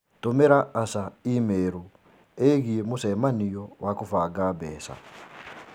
Tũmĩra Asha i-mīrū ĩgiĩ mũcemanio wa kũbanga mbeca.